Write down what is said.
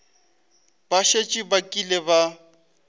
ba šetše ba kile ba